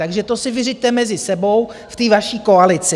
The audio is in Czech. Takže to si vyřiďte mezi sebou v té vaší koalici.